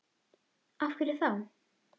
Af hverju þá?